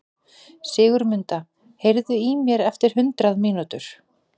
Sigurmunda, heyrðu í mér eftir hundrað mínútur.